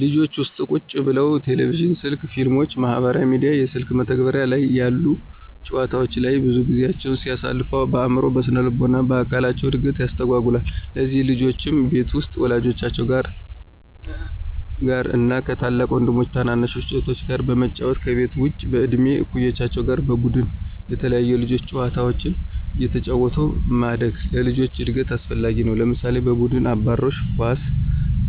ልጆች ቤት ውስጥ ቁጭ ብለው ቴሌቪዥን፣ ስልክ፣ ፊልሞችን፣ ማህበራዊ ሚዲያ፣ የስልክ መተግበሪያ ላይ ያሉ ጨዋታወች ላይ ብዙ ጊዜያቸውን ሲያሳልፉ በአዕምሮ፣ በስነልቦና እና በአካል እድገታቸውን ያስተጓጉለዋል። ለዚህም ልጆች ቤት ውስጥ ወላጆቻቸው ጋር እና ከ ታላቅ ወይም ታናሽ እህታቸው ጋር በመጫወት፤ ከቤት ውጭም በእድሜ እኩዮቻቸው ጋር በቡድን የተለያዩ የልጆች ጨዋታዎችን አየተጫወቱ ማደግ ለልጆች እድገት አስፈላጊ ነው። ለምሳሌ፦ በቡድን አባሮሽ፣ ኳስ፣